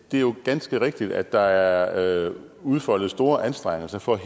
det er jo ganske rigtigt at der er udfoldet store anstrengelser for at